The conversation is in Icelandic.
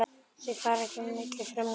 Þau fara ekki á milli frumna.